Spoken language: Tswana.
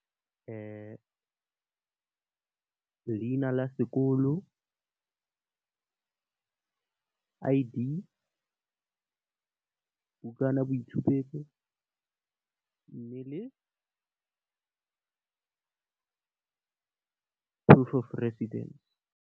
Leina la sekolo , I_D , bukana ya boitshupetso, mme, le proof of residence.